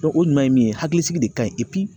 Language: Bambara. o ɲuman ye mun ye hakilisigi de kaɲi